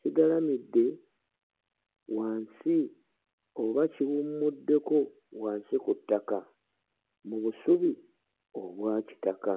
kigalamidde wansi oba kiwummuddeko wansi ku ttaka mu busubi obwakitaka.